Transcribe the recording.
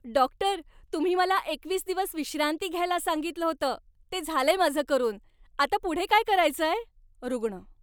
Doctor, तुम्ही मला एकवीस दिवस विश्रांती घ्यायला सांगितलं होतं. ते झालंय माझं करून. आता पुढे काय करायचंय? रुग्ण